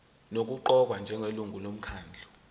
nokuqokwa njengelungu lomkhandlu